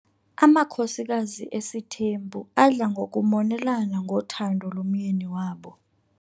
Amakhosikazi esithembu adla ngokumonelana ngothando lomyeni wabo.